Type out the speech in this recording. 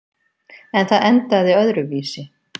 En það endaði öðruvísi.